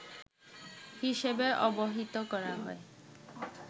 হিসেবে অবহিত করা হয়